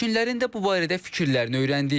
Sakinlərin də bu barədə fikirlərini öyrəndik.